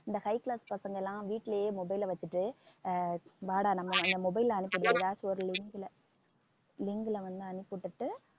இந்த high class பசங்க எல்லாம் வீட்டிலேயே mobile அ வச்சுட்டு ஆஹ் வாடா நம்ம அந்த mobile ல அனுப்பக்கூடிய ஏதாச்சு ஒரு link ல வந்து அனுப்பி விட்டுட்டு